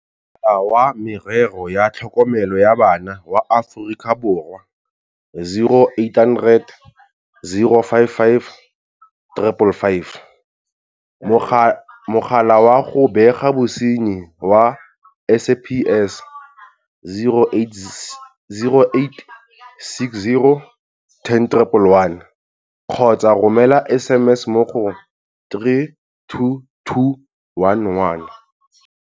Mogala wa Merero ya Tlhokomelo ya Bana wa Aforika Borwa, 0800 055 555. Mogala wa go Bega Bosenyi wa SAPS, 0860 10111 kgotsa romela SMS mo go 32211.